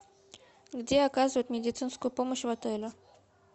где оказывают медицинскую помощь в отеле